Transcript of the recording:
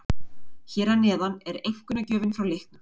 Hér að neðan er einkunnargjöfin frá leiknum.